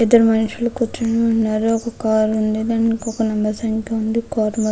ఇద్దరు మనుషులు కూర్చుని ఉన్నారు. ఒక కార్ ఉంది. దాని మీద --